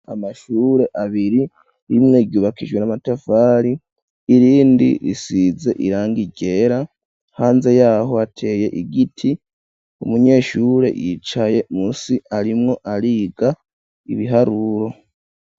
Amashure abiri rimwe ryubakijwe n'amatafari irindi risize irangi ryera hanze yaho ateye igiti umunyeshure yicaye musi arimwo ariga ibiharuro.